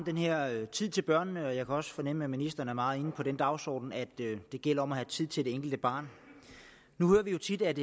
her med tid til børnene og jeg kan også fornemme at ministeren er meget med på den dagsorden at det gælder om at have tid til det enkelte barn nu hører vi jo tit at